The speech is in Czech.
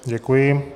Děkuji.